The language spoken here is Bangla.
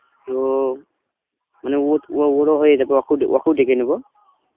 তো মানে ও~ ওরও হয়ে অকুড~ অকু ডেকে নেব.